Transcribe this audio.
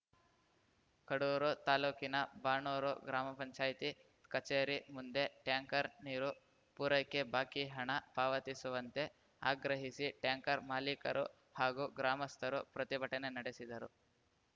ಕಡೂರು ತಾಲೂಕಿನ ಬಾಣೂರು ಗ್ರಾಮ ಪಂಚಾಯ್ತಿ ಕಚೇರಿ ಮುಂದೆ ಟ್ಯಾಂಕರ್‌ ನೀರು ಪೂರೈಕೆ ಬಾಕಿ ಹಣ ಪಾವತಿಸುವಂತೆ ಆಗ್ರಹಿಸಿ ಟ್ಯಾಂಕರ್‌ ಮಾಲೀಕರು ಹಾಗೂ ಗ್ರಾಮಸ್ಥರು ಪ್ರತಿಭಟನೆ ನಡೆಸಿದರು